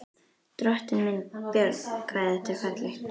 Drottinn minn, Björn, hvað þetta er fallegt!